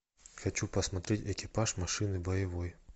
хочу посмотреть экипаж машины боевой